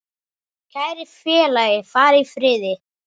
Kæri félagi, far í friði.